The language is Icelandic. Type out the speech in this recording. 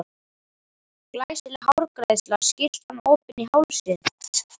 Glæsileg hárgreiðsla, skyrtan opin í hálsinn.